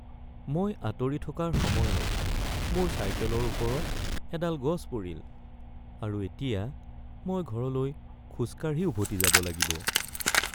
মই আঁতৰি থকাৰ সময়ত মোৰ চাইকেলৰ ওপৰত এডাল গছ পৰিল, আৰু এতিয়া মই ঘৰলৈ খোজ কাঢ়ি উভতি যাব লাগিব।